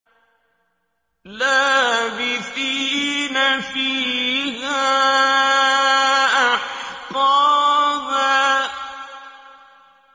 لَّابِثِينَ فِيهَا أَحْقَابًا